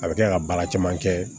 A bɛ kɛ ka baara caman kɛ